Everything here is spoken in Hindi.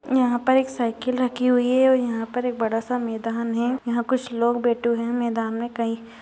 यहाँ पर एक साइकिल रखी हुई है और यहाँ पर बड़ा सा मैदान है| यहाँ कुछ लोग बेठे हुये हैं| मैदान में कई --